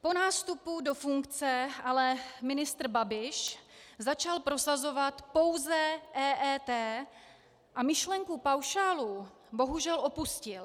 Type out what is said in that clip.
Po nástupu do funkce ale ministr Babiš začal prosazovat pouze EET a myšlenku paušálů bohužel opustil.